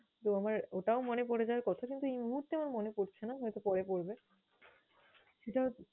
তো আমার ওটাও মনে পরে যাওয়ার কথা কিন্তু আমার এই মুহূর্তে মনে পরছে না, হয়তো পরে পরবে সেটা হচ্ছে